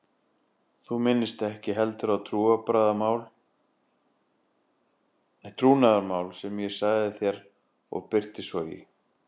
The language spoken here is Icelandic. Þú minnist ekki heldur á trúnaðarmál sem ég sagði þér og birtist svo í